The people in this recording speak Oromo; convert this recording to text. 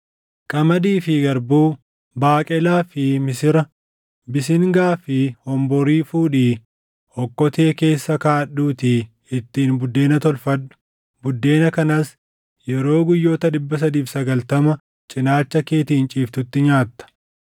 “Qamadii fi garbuu, baaqelaa fi misira, bisingaa fi honborii fuudhii okkotee keessa kaaʼadhuutii ittiin buddeena tolfadhu. Buddeena kanas yeroo guyyoota 390 cinaacha keetiin ciiftutti nyaatta.